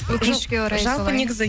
өкінішке орай солай жалпы негізі